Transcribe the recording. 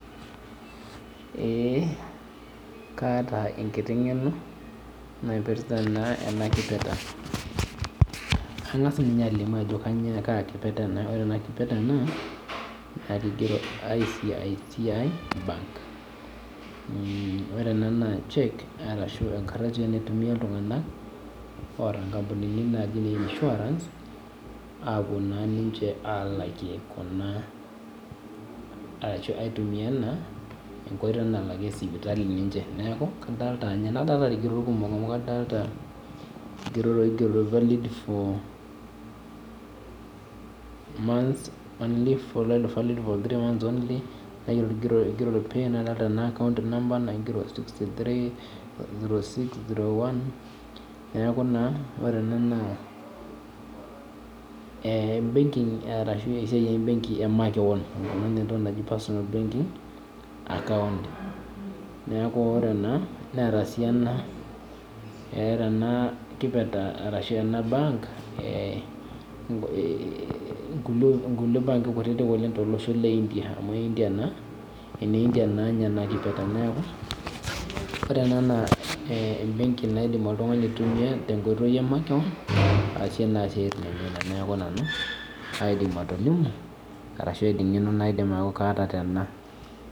Ee kaata enkiti ngeno naipirta enakipirta angasa nye alimu ajo kaa kipirta ena na kigero iccb bank ore naa na enkardasi naitumia ltunganak oota nkampunini naji ne insurance apuo naa ninche alakie kuna neaku kadolita nadolita irkigerot kumok adolta rkigerot oigero months valid for three months only nadolta naa account number naigero sixty three zero six zero one neaku ore ena naa embenki ashu esiaia embenki emakeon amu entoki naji personal account neaku ore ena newta sii enabenki nkulie banki kutitik tolosho le india amu eneindia enakipirta neaku ore ena naa embeki naidim oltungani aitumia aasie siatin emakeon neaku nejia nanu aidim atejo arashu kaata tena.